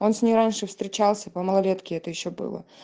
он с ней раньше встречался по малолетке это ещё было